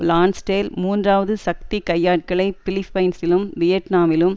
Lansdale மூன்றாவது சக்தி கையாட்களை பிலிப்பைன்ஸிலும் வியட்நாமிலும்